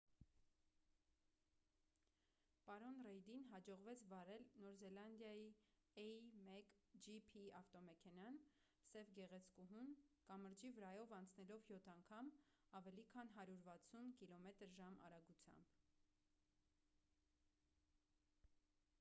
պարոն ռեյդին հաջողվեց վարել նոր զելանդիայի a1gp ավտոմեքենան՝ սև գեղեցկուհուն՝ կամրջի վրայով անցնելով յոթ անգամ՝ ավելի քան 160 կմ/ժ արագությամբ։